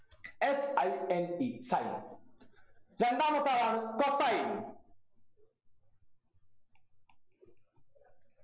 s i n e sine രണ്ടാമത്തെ ആളാണ് cosine